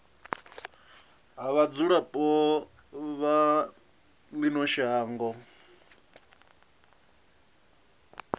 ha vhadzulapo vha ino shango